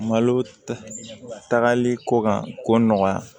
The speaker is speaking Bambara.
Malo tagali ko kan ko nɔgɔya